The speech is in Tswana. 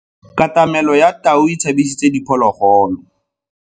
Katamelo ya tau e tshabisitse diphologolo.